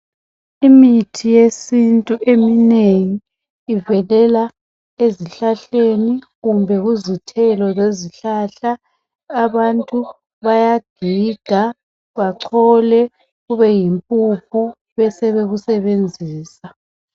Imithi yesintu eminengi ivelela ezihlahleni kumbe kuzithelo lezihlahla abantu bayagiga bachole kube yimpuphu besebekusebenzisa.